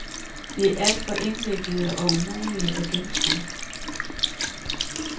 De er alt for indviklede og umulige at gennemskue.